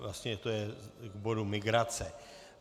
Vlastně je to k bodu migrace.